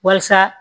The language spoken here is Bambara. Walasa